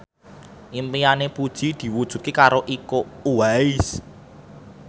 impine Puji diwujudke karo Iko Uwais